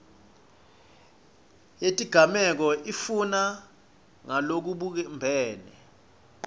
yetigameko itfutfuka ngalokubumbene